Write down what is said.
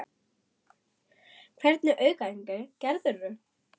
Hvernig aukaæfingar gerðirðu?